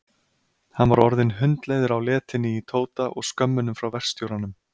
Hann var orðinn hundleiður á letinni í Tóta og skömmunum frá verkstjóranum.